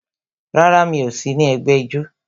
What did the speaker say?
Rárá, mi ò sí ní ẹgbẹ́ ijó